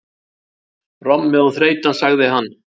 Rommið og þreytan, sagði hann.